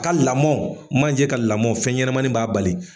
A ka lamɔn, manje ka lamɔn, fɛn ɲɛnɛmani b'a bali.